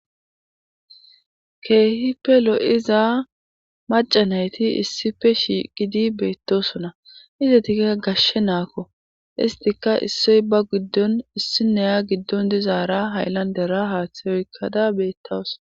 keehi pelo7iza macanayti issife shiqidi beettosona izatikka gashshe naakko istika issoy ba giddon issineya giddon dizaara hayllandera haaththay oykkada beettas